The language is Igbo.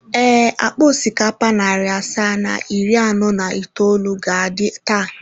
Ee, akpa osikapa narị asaa na iri anọ na itoolu ga-adị taa.